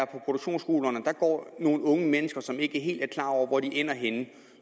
produktionsskolerne går nogle unge mennesker som ikke er helt klar over hvor de ender henne